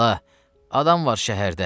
Bala, adam var şəhərdə.